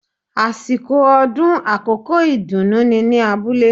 Àsìkò ọdún àkókò ìdùnú ni ní abúlé